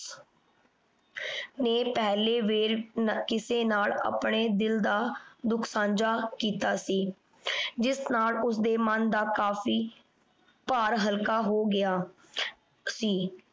ਨੇ ਪਹਲੇ ਵੇਲ ਨ ਕਿਸੇ ਨਾਲ ਅਪਨੇ ਦਿਲ ਦਾ ਦੁਖ ਸਾਂਝਾ ਕੀਤਾ ਸੀ ਏਸ ਦੇ ਨਾਲ ਓਸਦੇ ਮਨ ਦਾ ਕਾਫੀ ਭਾਰ ਹਲਕਾ ਹੋ ਗਯਾ ਸੀ।